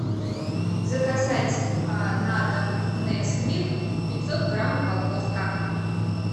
заказать на дом несквик пятьсот грамм упаковка